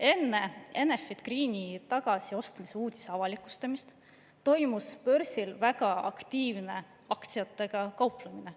Enne Enefit Greeni tagasiostmise uudise avalikustamist toimus börsil väga aktiivne aktsiatega kauplemine.